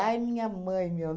minha mãe, meu.